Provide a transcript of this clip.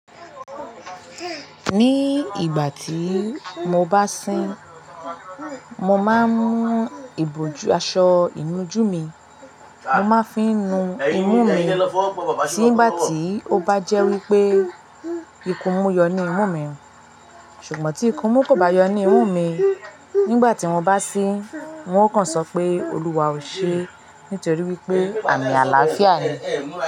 Ní ìgbà tí mo bá sín, mo máa ń mú ìbòjú aṣọ inú jú mi. Mo máa fi ń nu imú mi nìgbà tí ó bá jẹ́ wípé ikun mú yọ ní imú mi. Ṣùgbọ́n tí ikun mú kò bá yọ ní imú mi, nígbà tí wọ́n bá sín, wọn ó kàn sọ pé Olúwa ò ṣe é nítorí wípé àmì àlàáfíà ni.